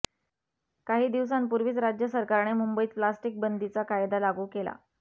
काही दिवसांपुर्वीच राज्य सरकारने मुंबईत प्लॅस्टिकबंदीचा कायदा लागू केला